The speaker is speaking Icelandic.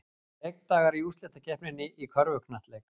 Leikdagar í úrslitakeppninni í körfuknattleik